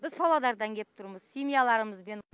біз павлодардан кеп тұрмыз семьяларымызбен